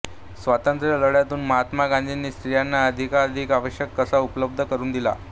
स्वातंत्र्य लढ्यातून महात्मा गांधीनी स्त्रियांना अधिकाधिक अवकाश कसा उपलब्ध करून दिला